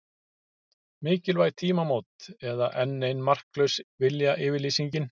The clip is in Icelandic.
Mikilvæg tímamót eða enn ein marklaus viljayfirlýsingin?